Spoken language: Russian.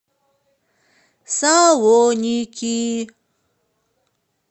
салоники